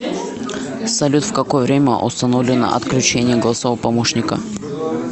салют в какое время установлено отключение голосового помощника